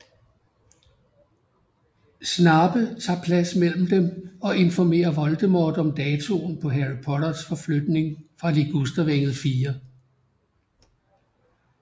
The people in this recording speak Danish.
Snape tager plads mellem dem og informerer Voldemort om datoen på Harry Potters forflytning fra Ligustervænget 4